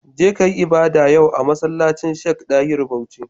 Je kayi ibada yau a masallacin Sheik Dahiru Bauchi